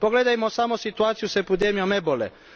Pogledajmo samo situaciju s epidemijom ebole.